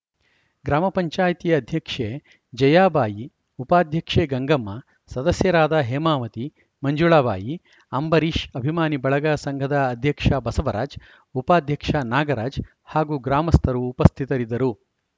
ಗ್ರಾಮ ಪಂಚಾಯತ್ ಅಧ್ಯಕ್ಷೆ ಜಯಾಬಾಯಿ ಉಪಾಧ್ಯಕ್ಷೆ ಗಂಗಮ್ಮ ಸದಸ್ಯರಾದ ಹೇಮಾವತಿ ಮಂಜುಳಾಬಾಯಿ ಅಂಬರೀಶ್‌ ಅಭಿಮಾನಿ ಬಳಗ ಸಂಘದ ಅಧ್ಯಕ್ಷ ಬಸವರಾಜ್‌ ಉಪಾಧ್ಯಕ್ಷ ನಾಗರಾಜ್‌ ಹಾಗೂ ಗ್ರಾಮಸ್ಥರು ಉಪಸ್ಥಿತರಿದ್ದರು